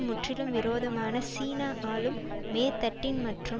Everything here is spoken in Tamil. முற்றிலும் விரோதமான சீன ஆளும் மேற்தட்டின் மற்றும்